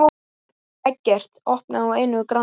Eggert opnaði á einu grandi.